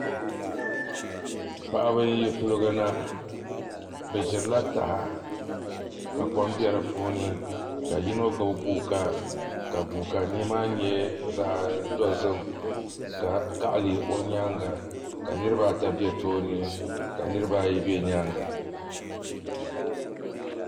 Paɣaba n yi kuligi na bi ʒirila taha ka kom bɛ di puuni ka yino gbubi guuka ka guuka mii maa nyɛ zaɣ dozim ka kaɣa lihi o nyaanga ka niraba ata bɛ tooni ka niraba ayi bɛ nyaanga